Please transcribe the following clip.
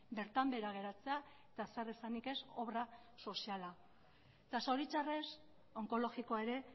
bertan behera geratzea eta zer esanik ez obra soziala eta zoritxarrez onkologikoa ere